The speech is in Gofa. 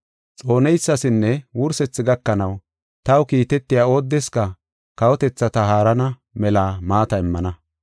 Xooneysasinne wursethi gakanaw taw kiitetiya oodeska kawotethata haarana mela maata immana.